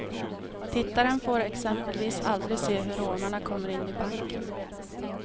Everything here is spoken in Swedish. Tittaren får exempelvis aldrig se hur rånarna kommer in i banken.